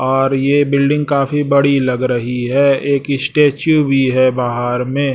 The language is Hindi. और ये बिल्डिंग काफी बड़ी लग रही है एक स्टैचू भी है बाहर में।